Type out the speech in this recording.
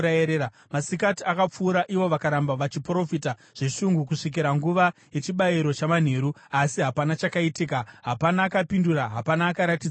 Masikati akapfuura, ivo vakaramba vachiprofita zveshungu kusvikira nguva yechibayiro chamanheru. Asi hapana chakaitika, hapana akapindura, hapana akaratidza hanya.